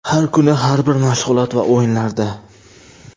Har kuni, har bir mashg‘ulot va o‘yinlarda.